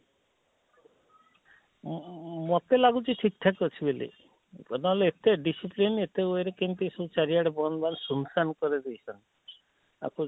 ଅଁ ଅଁ ମତେ ଲାଗୁଛି ଠିକ ଠାକ ଅଛି ବୋଲି ନହେଲେ ଏତେ discipline ଏତେ were ରେ କେମିତି ସବୁ ଚାରି ଆଡେ ବନ୍ଦ ବାନ୍ଦ ଶୁଣ ସାନ କରି ଦେଇଛନ ଆକୁ